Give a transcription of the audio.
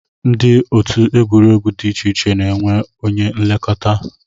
Ndị otu egwuregwu dị iche iche na-enwe onye nlekọta